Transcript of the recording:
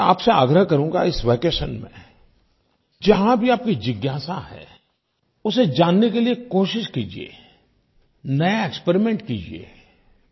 मैं आपसे आग्रह करूँगा इस वैकेशन में जहाँ भी आपकी जिज्ञासा है उसे जानने के लिये कोशिश कीजिये नया एक्सपेरिमेंट कीजिये